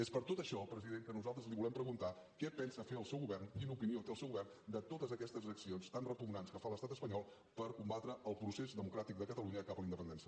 és per tot això president que nosaltres li volem preguntar què pensa fer el seu govern quina opinió té el seu govern de totes aquestes accions tan repugnants que fa l’estat espanyol per combatre el procés democràtic de catalunya cap a la independència